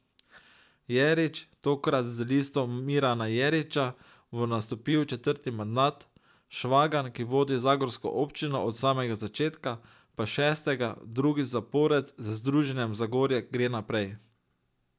Jerič, tokrat z Listo Mirana Jeriča, bo nastopil četrti mandat, Švagan, ki vodi zagorsko občino od samega začetka, pa šestega, drugič zapored z Združenjem Zagorje gre naprej.